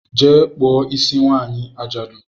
Jee kpụọ isi nwanyị ajadu!